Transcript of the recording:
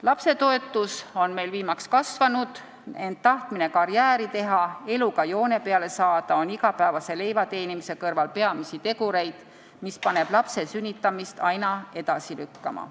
Lapsetoetus on meil viimaks kasvanud, ent tahtmine karjääri teha, eluga joone peale saada on igapäevase leivateenimise kõrval peamisi tegureid, mis paneb lapse sünnitamist aina edasi lükkama.